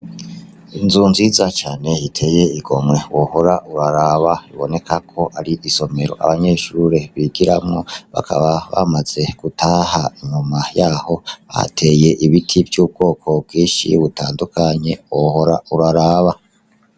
Inzu nziza cane iteye igomwe wohora uraraba biboneka ko ari isomero abanyeshure bigiramwo bakaba bamaze gutaha inyuma yaho hateye ibiti vy'ubwoko bwinshi butandukanye wohora uraraba.